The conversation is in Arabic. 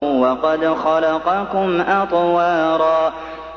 وَقَدْ خَلَقَكُمْ أَطْوَارًا